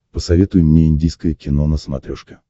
посоветуй мне индийское кино на смотрешке